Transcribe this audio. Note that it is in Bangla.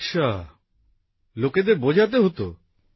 আচ্ছা লোকেদের বোঝাতে হতো